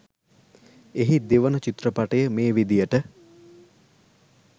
එහි දෙවන චිත්‍රපටය මේ විදියට